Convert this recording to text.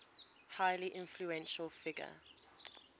highly influential figure